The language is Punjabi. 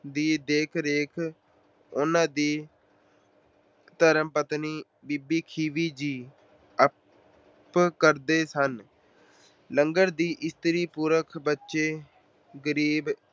ਦੀ ਦੇਖ-ਰੇਖ ਉਹਨਾਂ ਦੀ ਧਰਮ ਪਤਨੀ ਬੀਬੀ ਖੀਵੀ ਜੀ ਆਪ ਕਰਦੇ ਸਨ। ਲੰਗਰ ਇਸਤਰੀ-ਪੁਰਸ਼, ਬੱਚੇ, ਗਰੀਬ